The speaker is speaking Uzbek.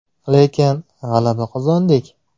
Lekin, g‘alaba qozondik.